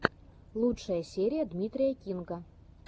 лучшая серия дмитрия кинга